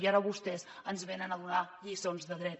i ara vostès ens venen a donar lliçons de dret